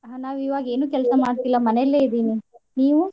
ನಾವಿವಾಗ್ ಏನು ಕೆಲ್ಸಾ ಮಾಡ್ತಿಲ್ಲ ಮನೇಲೆ ಇದೀನಿ ನೀವು?